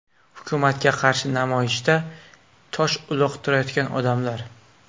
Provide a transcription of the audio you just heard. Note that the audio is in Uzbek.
Hukumatga qarshi namoyishda tosh uloqtirayotgan odamlar.